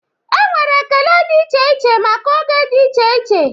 E nwere ekele dị iche iche maka oge dị iche iche